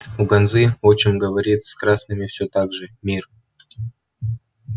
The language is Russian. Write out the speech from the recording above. у ганзы отчим говорит с красными все так же мир